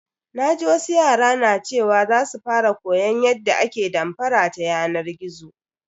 Naji wasu yara na cewa za su fara koyan yadda ake damfara ta yanar gizo.